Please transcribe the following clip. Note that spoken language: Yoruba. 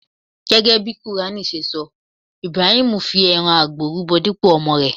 Gẹ́gẹ́ bí ohun ti quran sọ, Ibrahim fí ẹran àgbò rúbọ dípò ọmọ rè.